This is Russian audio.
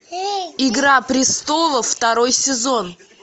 игра престолов второй сезон